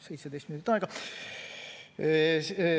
17 minutit on aega.